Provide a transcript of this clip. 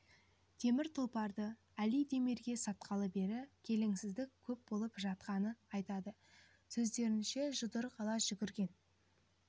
темір тұлпарды али демирге сатқалы бері келеңсіздік көп болып жатқанын айтады сөздерінше жұдырық ала жүгірген